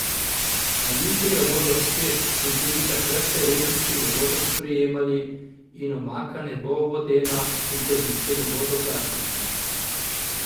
A jutri jo bodo spet, in tudi takrat se rezanci ne bodo sprijemali in omaka ne bo vodena in kozice ne bodo plastične.